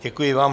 Děkuji vám.